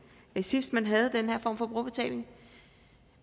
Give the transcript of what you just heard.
sidst man havde den her form for brugerbetaling